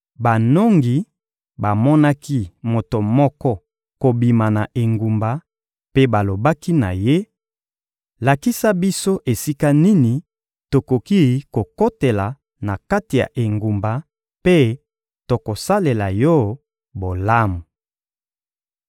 banongi bamonaki moto moko kobima na engumba mpe balobaki na ye: «Lakisa biso esika nini tokoki kokotela na kati ya engumba, mpe tokosalela yo bolamu.»